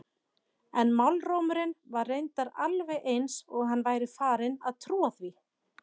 En málrómurinn var reyndar alveg eins og hann væri farinn að trúa því.